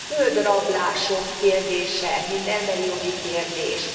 A földrablások kérdése, mint emberi jogi kérdés.